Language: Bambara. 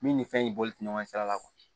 Min ni fɛn in bɔli tɛ ɲɔgɔn sira la